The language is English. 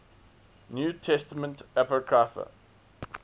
new testament apocrypha